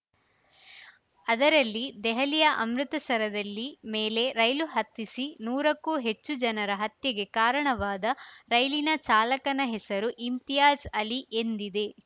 ಅದರಲ್ಲಿ ದೆಹಲಿಯ ಅಮೃತಸರದಲ್ಲಿ ಮೇಲೆ ರೈಲು ಹತ್ತಿಸಿ ನೂರಕ್ಕೂ ಹೆಚ್ಚು ಜನರ ಹತ್ಯೆಗೆ ಕಾರಣವಾದ ರೈಲಿನ ಚಾಲಕನ ಹೆಸರು ಇಮ್ತಿಯಾಜ್‌ ಅಲಿ ಎಂದಿದೆ